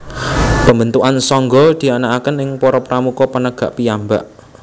Pembentukan sangga dianakkaken ing para Pramuka Penegak piyambak